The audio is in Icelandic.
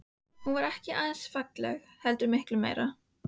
Hún er ekki aðeins falleg heldur miklu meira.